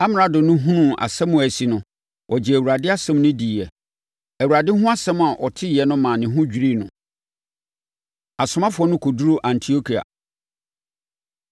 Amrado no hunuu asɛm a asi no, ɔgyee Awurade asɛm no diiɛ. Awurade ho asɛm a ɔteeɛ no maa ne ho dwirii no. Asomafoɔ No Kɔduru Antiokia